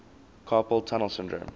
carpal tunnel syndrome